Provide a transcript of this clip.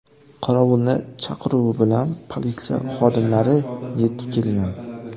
Qorovulning chaqiruvi bilan politsiya xodimlari yetib kelgan.